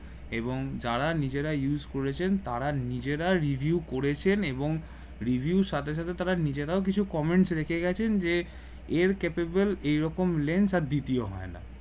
এবং যারা নিজেরা use করেছেন তারা নিজেরা review করেছেন এবং review সাথে সাথে তারা নিজেরাও কিছু কমেন্ট রেখে গেছে যে এর capable এই রকম lens দ্বিতীয় হয় না